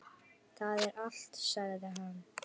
Það er allt, sagði hann.